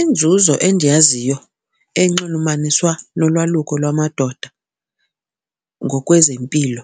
Inzuzo endiyaziyo enxulumaniswa nolwaluko lwamadoda ngokwezempilo